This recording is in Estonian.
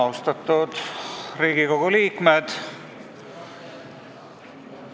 Austatud Riigikogu liikmed!